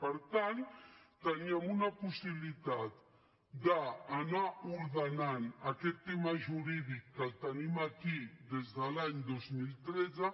per tant teníem una possibilitat d’anar ordenant aquest tema jurídic que el tenim aquí des de l’any dos mil tretze